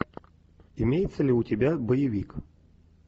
имеется ли у тебя боевик